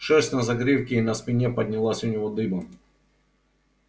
шерсть на загривке и на спине поднялась у него дыбом